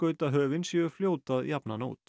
heimskautahöfin séu fljót að jafna hana út